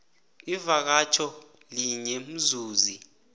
ivakatjho linye umzuzi